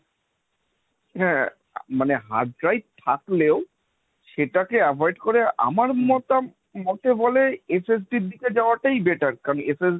হা মানে hard drive থাকলে ও, সেটা কে avoid করে হম আমার মতে বলে SST র দিকে যাবা টাই better। কারণ SST